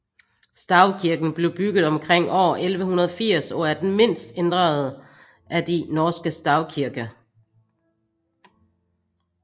Stavkirken blev bygget omkring år 1180 og er den mindst ændrede af de norske stavkirker